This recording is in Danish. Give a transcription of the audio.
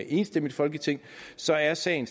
enstemmigt folketing så er sagen